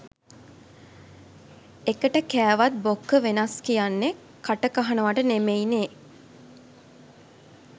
එකට කෑවත් බොක්ක වෙනස් කියන්නෙ කටකහනවට නෙමෙයිනේ